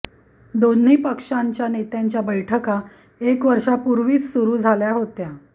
दोन्ही पक्षांच्या नेत्यांच्या बैठका एक वर्षापूर्वीच सुरू झाल्या होत्या